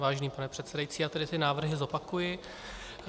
Vážený pane předsedající, já tedy ty návrhy zopakuji.